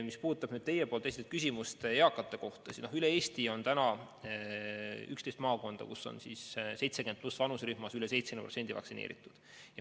Mis puudutab teie esitatud küsimust eakate kohta, siis üle Eesti on 11 maakonda, kus on 70+ vanuserühmas üle 70% vaktsineeritud.